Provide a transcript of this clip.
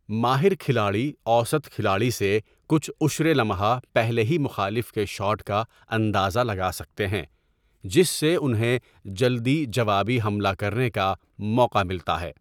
ماہر کھلاڑی اوسط کھلاڑی سے کچھ عُشرِ لمحہ پہلے ہی مخالف کے شاٹ کا اندازہ لگا سکتے ہیں، جس سے انہیں جلدی جوابی حملہ کرنے کا موقع ملتا ہے۔